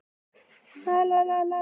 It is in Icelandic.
Ekki nóg að gert